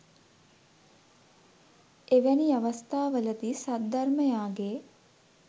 එවැනි අවස්ථාවලදී සද්ධර්මයාගේ